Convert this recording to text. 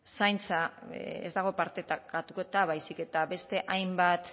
zaintza ez dago partekatuta baizik eta beste hainbat